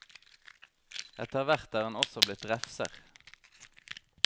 Etter hvert er han også blitt refser.